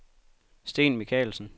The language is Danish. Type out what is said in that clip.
Steen Michaelsen